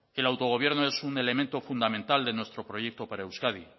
el autogobierno es un elemento fundamental de nuestro proyecto para euskadi